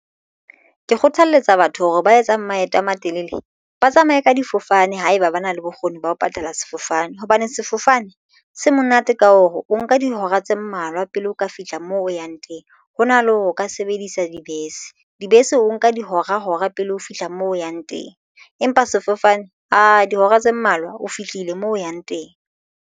Ke kgothaletsa batho hore ba etsang maeto a matelele ba tsamaye ka difofane haeba ba na le bokgoni ba ho patala sefofane hobane sefofane se monate ka hore o nka dihora tse mmalwa pele o ka fihla moo o yang teng hona le hore o ka sebedisa dibese. Dibese o nka dihora hora pele ho fihla moo o yang teng empa sefofane ae dihora tse mmalwa o fihlile moo o yang teng.